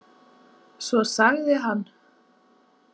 Svo sagði hann.